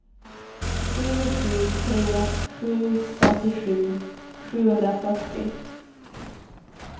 sju sju tre sju femtiosju sjuhundrafyrtio